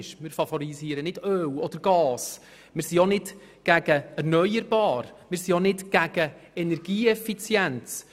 Wir favorisieren nicht Öl oder Gas, wir sind auch nicht gegen erneuerbare Energien oder gegen Energieeffizienz.